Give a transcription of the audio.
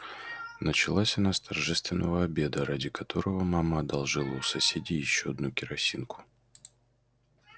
началась она с торжественного обеда ради которого мама одолжила у соседей ещё одну керосинку